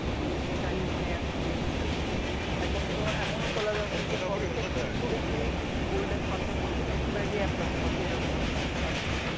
বিষয়টা এখন নাই আর কি বিলুপ্তের পথে এখনতো এমনও কলেজ আছে যে প্রত্যেক স্টুডেন্টই গোল্ডেন পাচ্ছে প্রত্যেক স্টুডেন্টই এ প্লাস পাচ্ছে এরকম আর কি